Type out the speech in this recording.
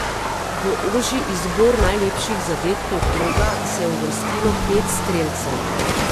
V ožji izbor najlepših zadetkov kroga se je uvrstilo pet strelcev.